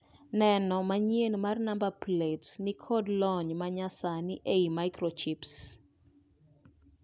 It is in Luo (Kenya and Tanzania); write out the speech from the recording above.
Neno manyien mar namba plets ni kod lony' manyasani ei mikrochips